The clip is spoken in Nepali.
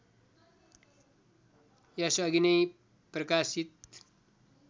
यसअघि नै प्रकाशित